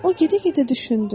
O gedə-gedə düşündü.